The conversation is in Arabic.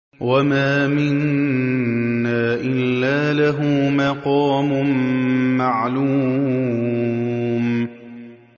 وَمَا مِنَّا إِلَّا لَهُ مَقَامٌ مَّعْلُومٌ